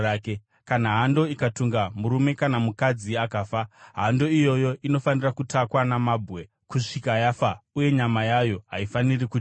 “Kana hando ikatunga murume kana mukadzi akafa, hando iyoyo inofanira kutakwa namabwe kusvika yafa, uye nyama yayo haifaniri kudyiwa.